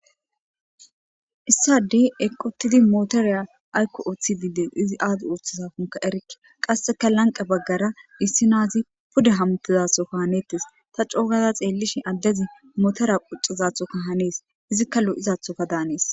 Issi addey eqqi uttidi motoriya aykko oothidi dees izi aazi oothizaakonkka erikke. Qasseka lanqqen baggara issi na7azi pude hamuttizathonkka haneettes ta co gaada xeellishin addezi motora quccizathoka hanees Izikka lo7izaathoka danees.